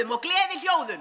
og